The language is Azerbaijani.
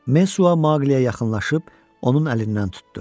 Mesua Maqliyə yaxınlaşıb onun əlindən tutdu.